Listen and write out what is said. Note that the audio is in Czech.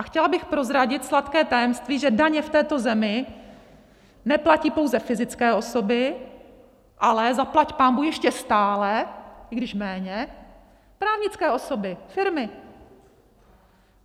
A chtěla bych prozradit sladké tajemství, že daně v této zemi neplatí pouze fyzické osoby, ale zaplať pánbůh ještě stále, i když méně, právnické osoby, firmy.